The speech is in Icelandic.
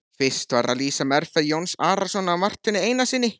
Fyrst var að lýsa meðferð Jóns Arasonar á Marteini Einarssyni.